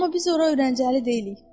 Amma biz ora öyrəncəli deyilik.